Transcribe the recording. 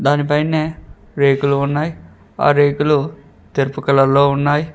దానిపైనే రేకులు ఉన్నాయి ఆ రేకులు తెలుపు కలర్ లో ఉన్నాయి